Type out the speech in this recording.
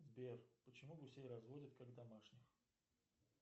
сбер почему гусей разводят как домашних